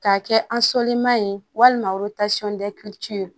K'a kɛ ye walima